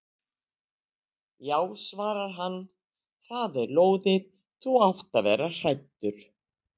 Já svarar hann, það er lóðið, þú átt að vera hræddur.